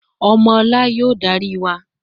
Omo ola y‘o dari wa